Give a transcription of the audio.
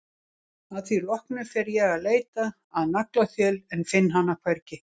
Að því loknu fer ég að leita að naglaþjöl en finn hana hvergi.